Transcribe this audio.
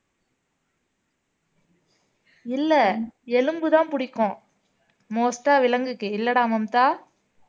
இல்லை எலும்புதான் பிடிக்கும் most ஆ விலங்குக்கு இல்லடா மும்தா